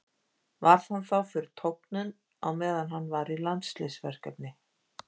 Varð hann þá fyrir tognun á meðan hann var í landsliðsverkefni.